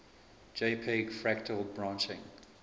jpg fractal branching